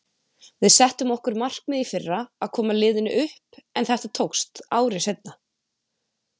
Við settum okkur markmið í fyrra að koma liðinu upp en þetta tókst ári seinna.